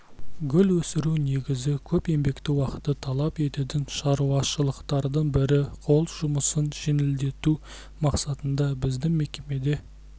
гүл өсіру негізі көп еңбекті уақытты талап ететін шаруашылықтардың бірі қол жұмысын жеңілдету мақсатында біздің мекемеде